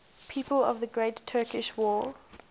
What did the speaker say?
people of the great turkish war